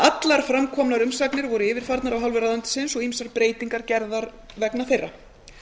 allar framkomnar umsagnir voru yfirfarnar af hálfu ráðuneytisins og ýmsar breytingar gerðar vegna þeirra